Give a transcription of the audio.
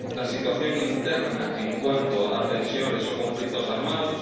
la situación interna en cuanto a tensiones o conflictos armados